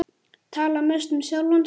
Tala mest um sjálfan sig.